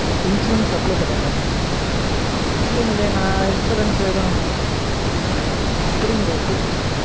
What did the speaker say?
insurance apply பண்ணியிருந்தேனா? இல்லைங்கலே நான் insurance எதும் புரியளைங்கலே புரியளைங்